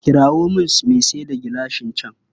Kirawo min mai sayar da gilashin can.